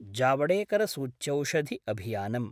जावेडकरसूच्यौषधिअभियानम्